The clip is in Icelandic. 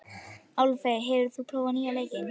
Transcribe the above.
Álfey, hefur þú prófað nýja leikinn?